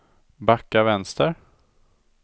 backa vänster